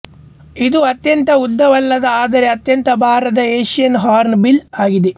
ಇದು ಅತ್ಯಂತ ಉದ್ದವಲ್ಲದ ಆದರೆ ಅತ್ಯಂತ ಭಾರದ ಏಷ್ಯನ್ ಹಾರ್ನ್ ಬಿಲ್ ಆಗಿದೆ